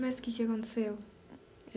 Mas que que aconteceu?